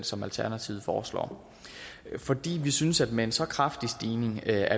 som alternativet foreslår vi synes at vi med en så kraftig stigning er